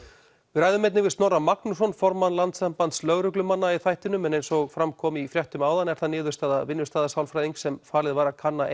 við ræðum einnig við Snorra Magnússon formann Landssambands lögreglumanna í þættinum en eins og fram kom í fréttum áðan er það niðurstaða vinnustaðasálfræðings sem falið var að kanna